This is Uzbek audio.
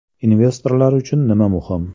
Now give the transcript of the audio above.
Investorlar uchun nima muhim?